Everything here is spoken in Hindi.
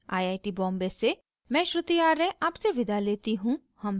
आय आय टी बॉम्बे से मैं श्रुति आर्य आपसे विदा लेती हूँ